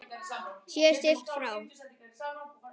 Sé siglt frá